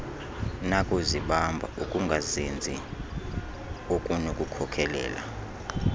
nakuzibamba ukungazinzi okunokukhokelela